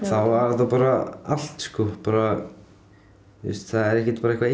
þá var þetta bara allt sko það er ekkert bara eitthvað